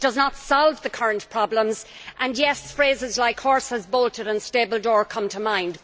It does not solve the current problems and yes, phrases like horses bolted' and stable door' come to mind.